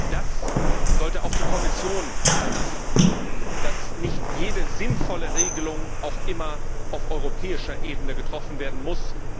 Das sollte auch die Kommission beachten, dass nicht jede sinnvolle Regelung auch immer auf europäischer Ebene getroffen werden muss.